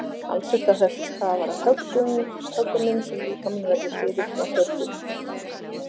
talsvert af þessu stafar af höggunum sem líkaminn verður fyrir frá hörðu undirlagi